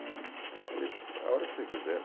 Eu falei, a hora que você quiser.